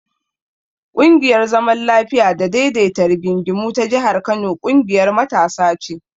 ƙungiyar zaman lafiya da daidaita rigingimu ta jihar Kano ƙungiyar matasa ce.